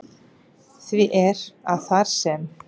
Því er, að þar sem